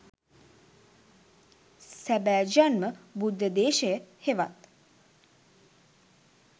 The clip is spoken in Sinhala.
සැබෑ ජන්ම බුද්ධ දේශය හෙවත්